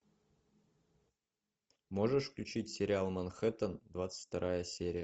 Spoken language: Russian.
можешь включить сериал манхэттен двадцать вторая серия